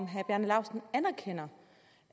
herre bjarne laustsen